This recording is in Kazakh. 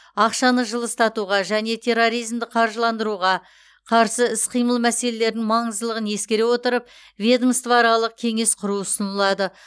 ақшаны жылыстатуға және терроризмді қаржыландыруға қарсы іс қимыл мәселелерінің маңыздылығын ескере отырып ведомствоаралық кеңес құру ұсынылады